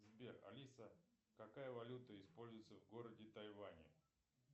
сбер алиса какая валюта используется в городе тайвани